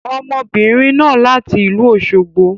Ọmọbìnrin náà láti ìlú Òsogbo.